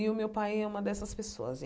E o meu pai é uma dessas pessoas.